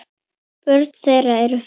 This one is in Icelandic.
Börn þeirra eru fimm.